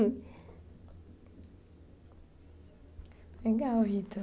Legal, Rita.